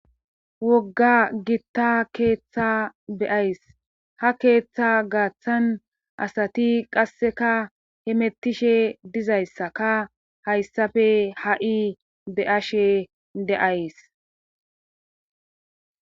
Wogga gitta keeththa beyays ha keeththa gaaththan asati qasseka hemettishe dizayssa ka hayssafe ha'i be'ashe deays